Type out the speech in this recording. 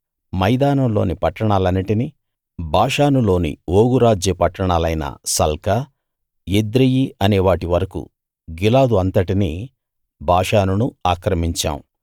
మైదానంలోని పట్టాణాలన్నిటిని బాషానులోని ఓగు రాజ్య పట్టణాలైన సల్కా ఎద్రెయీ అనేవాటి వరకూ గిలాదు అంతటినీ బాషానునూ ఆక్రమించాం